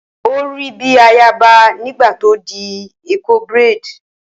Ó rí bíi ayaba nígbà tó di Eko braid.